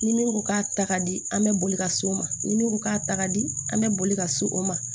Ni min ko k'a ta ka di an bɛ boli ka s'o ma ni min ko k'a ta ka di an bɛ boli ka se o ma